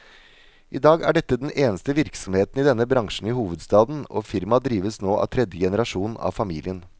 I dag er dette den eneste virksomheten i denne bransjen i hovedstaden, og firmaet drives nå av tredje generasjon av familien.